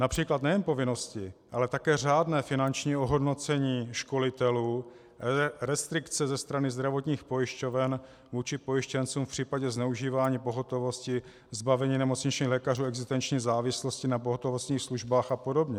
Například nejen povinnosti, ale také řádné finanční ohodnocení školitelů, restrikce ze strany zdravotních pojišťoven vůči pojištěncům v případě zneužívání pohotovosti, zbavení nemocničních lékařů existenční závislosti na pohotovostních službách a podobně.